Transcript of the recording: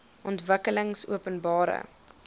ontwikkelingopenbare